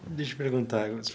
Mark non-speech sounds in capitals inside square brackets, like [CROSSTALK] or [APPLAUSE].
Deixa eu perguntar. [UNINTELLIGIBLE]